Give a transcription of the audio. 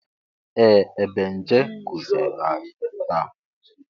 Ee! Ebenje kụziiri anyi taa.